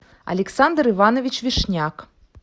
александр иванович вишняк